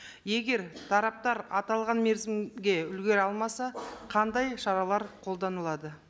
егер тараптар аталған мерзімге үлгере алмаса қандай шаралар қолданылады